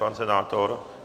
Pan senátor?